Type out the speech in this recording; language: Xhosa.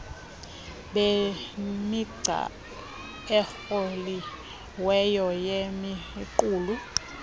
bemigca ekroliweyo yemiqulu